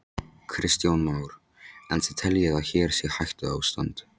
Kristján Már: En þið teljið að hér sé hættuástand?